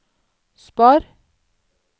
spar